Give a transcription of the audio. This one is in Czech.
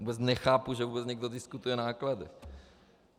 Vůbec nechápu, že vůbec někdo diskutuje náklady.